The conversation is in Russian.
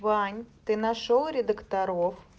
вань ты нашёл редакторов